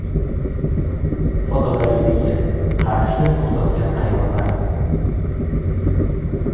Fotogalereya: Qarishni to‘xtatgan ayollar.